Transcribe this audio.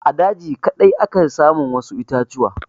A daji kaɗai ake samun wasu itatuwa.